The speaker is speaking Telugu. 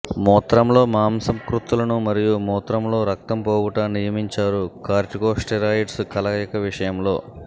మూత్రంలో మాంసకృత్తులను మరియు మూత్రములో రక్తము పోవుట నియమించారు కార్టికోస్టెరాయిడ్స్ కలయిక విషయంలో